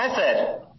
হ্যাঁ স্যার